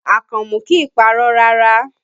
Àkànmú kìí parọ́ rárá